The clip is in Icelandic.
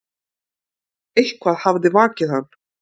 Eitthvað hafði vakið hann.